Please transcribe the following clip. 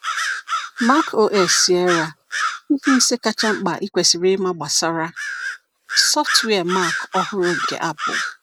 MacOS Sierra: Ihe ise kacha mkpa ị kwesịrị ịma gbasara sọftụwia Mac ọhụrụ nke Apple.